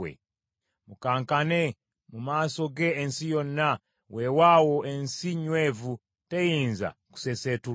Mukankane mu maaso ge ensi yonna, weewaawo ensi nywevu, teyinza kusesetulwa.